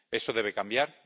Eso debe cambiar.